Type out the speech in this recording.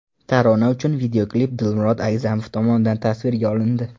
Tarona uchun videoklip Dilmurod Agzamov tomonidan tasvirga olindi.